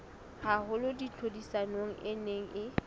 haholo tlhodisanong e neng e